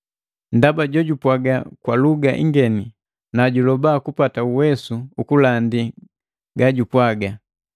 Ndaba jojupwaga kwa luga ingeni nu juloba jupata uwesu ukulandi gajupwaga.